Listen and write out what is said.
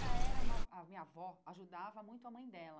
Mas ela era uma a minha avó ajudava muito a mãe dela.